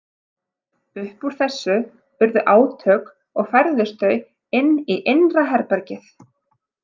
Upp úr þessu urðu átök og færðust þau inn í innra herbergið.